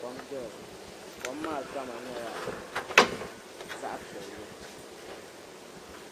kom doya kom maa kama nyɛla zaɣa piɛlli.